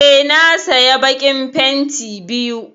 Eh na saya bakin fenti biyu.